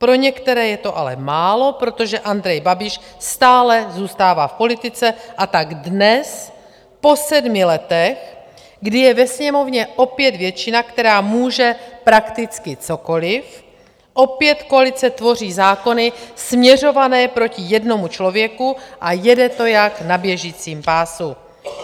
Pro některé je to ale málo, protože Andrej Babiš stále zůstává v politice, a tak dnes, po sedmi letech, kdy je ve Sněmovně opět většina, která může prakticky cokoliv, opět koalice tvoří zákony směřované proti jednomu člověku, a jede to jak na běžícím pásu.